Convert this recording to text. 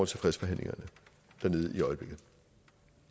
til fredsforhandlingerne dernede i øjeblikket